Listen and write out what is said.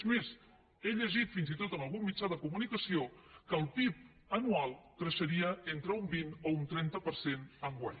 és més he llegit fins i tot en algun mitjà de comunicació que el pib anual creixeria entre un vint o un trenta per cent enguany